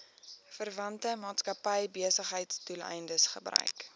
verwante maatskappybesigheidsdoeleindes gebruik